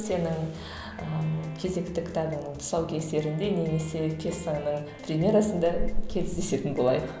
сенің ііі кезекті кітабыңның тұсау кесерінде немесе пьесаңның премьерасында кездесетін болайық